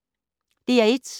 DR1